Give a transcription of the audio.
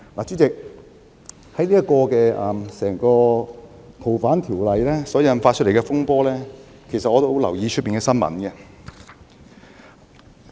主席，關於修訂《逃犯條例》所引發的風波，我一直有留意新聞。